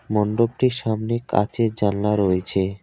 মন্ডপটির সামনে কাঁচের জানলা রয়েছে।